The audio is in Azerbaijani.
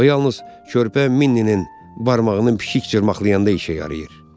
O yalnız körpə Minninin barmağının pişik cırmaqlayanda işə yarayır.